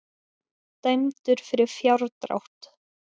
Dæmdur fyrir fjárdrátt